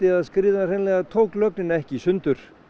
að skriðan hreinlega tók lögnina ekki í sundur